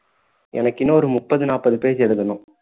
எனக்கு இன்னும் ஒரு முப்பது நாப்பது page எழுதணும்